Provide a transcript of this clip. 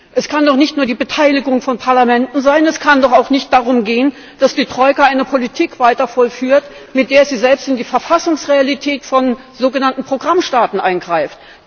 Es kann doch nicht nur die Beteiligung von Parlamenten sein. Es kann doch auch nicht darum gehen, dass die Troika eine Politik weiter vollführt, mit der sie selbst in die Verfassungsrealität von sogenannten Programmstaaten eingreift.